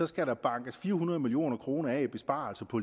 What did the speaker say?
skal bankes fire hundrede million kroner af i besparelser på